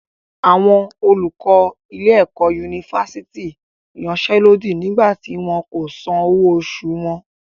Àwọn olùkọ ilé-ẹ̀kọ́ yunifásítì yansẹ́lódì nígbà tí wọn kò san owó oṣù wọn.